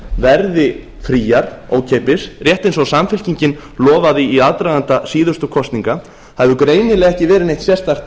verði fríar ókeypis rétt eins og samfylkingin lofaði í aðdraganda síðustu kosninga það hefur greinilega ekki verið neitt sérstakt